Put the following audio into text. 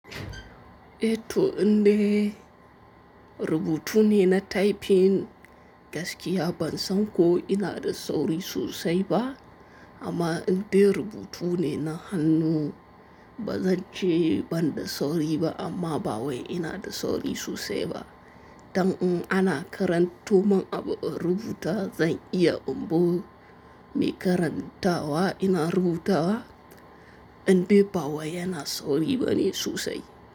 Eh to in dai rubutu ne na typing gaskiya ban san ko ina da sauri sosai ba amma in dai rubutu ne na hannu bazance banda sauri ba, amma bawai inada sauri sosai ba dan in ana karanto mun abu in rubuta zan iya in bu me karanta wa ina rubuta wa, in dai ba wai yana sauri bane sosai.